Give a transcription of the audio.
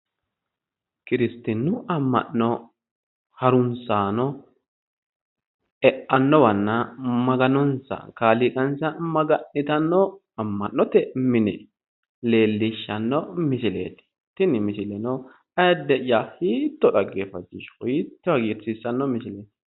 Kiristinnu amma'ano harunsaano ne'annowanna kaaliiqa maganonsa maga'nitanno amma'note mineeti ayidde"yya tini hisile hiitto dhageeffachishanno hiitto hagiirsiissanno misileeti.